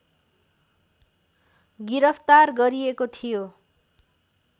गिरफ्तार गरिएको थियो